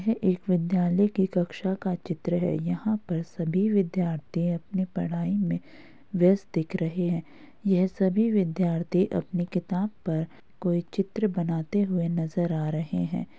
ये एक विद्यालय के कक्षा का चित्र है। यहां पर सभी विद्यार्थी अपनी पढाई में बयस्त दिख रहे हैं। ये सभी विद्यार्थी अपने किताब पर कोई चित्र बनाते हुए नज़र आ रहे हैं।